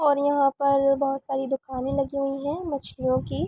और यहाँ पर बोहोत सारी दुकानें लगी हुई हैं मछलियोँ की।